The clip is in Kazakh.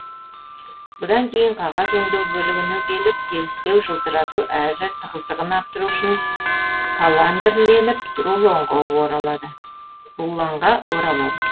бұдан кейін қағаз өңдеу бөлігіне келіп тегістеу жылтырату әрі тығыздығын арттыру үшін каландрленіп рулонға оралады